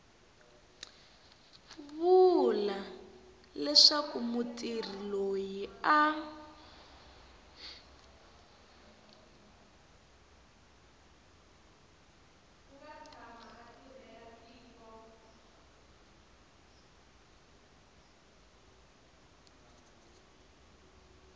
vula leswaku mutirhi loyi a